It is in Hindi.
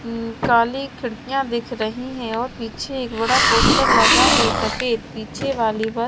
हम्म काली खिड़कियां दिख रही हैं और पीछे एक बड़ा पोस्टर लगा है सफेद पीछे वाली पर--